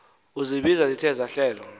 izibizo zithe zahlelwa